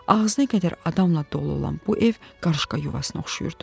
Ağzına qədər adamla dolu olan bu ev qarışqa yuvasına oxşayırdı.